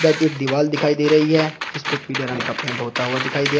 अधिक एक दीवाल दिखाई दे रही है जीस पर पीले रंग का पेंट होता हुआ दिखाई दे--